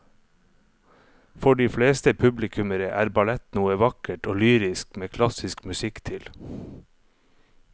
For de fleste publikummere er ballett noe vakkert og lyrisk med klassisk musikk til.